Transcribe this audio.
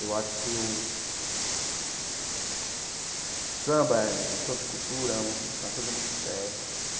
Eu acho que o o samba é, enquanto cultura, é uma coisa muito séria.